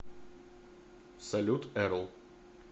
салют эрл